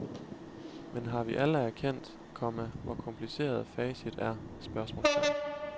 Men har vi alle erkendt, komma hvor kompliceret facit er? spørgsmålstegn